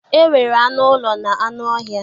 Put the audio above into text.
E nwere anụ ụlọ na anụ ọhịa.